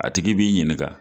A tigi b'i ɲininka